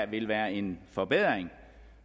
vil være en forbedring